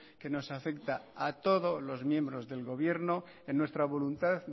que nos afecta a todos los miembros del gobierno en nuestra voluntad